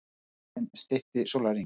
Skjálftinn stytti sólarhringinn